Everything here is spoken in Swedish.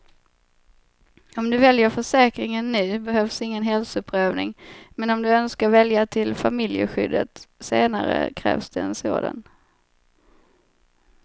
Om du väljer försäkringen nu behövs ingen hälsoprövning, men om du önskar välja till familjeskyddet senare krävs det en sådan.